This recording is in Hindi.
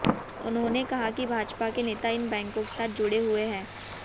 उन्होंने कहा कि भाजपा के नेता इन बैंकों के साथ जुड़े हुए हैं